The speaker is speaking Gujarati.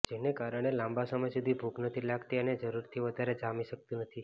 જેને કારણે લાંબા સમય સુધી ભૂખ નથી લાગતી અને જરૂરથી વધારે જામી શકાતું નથી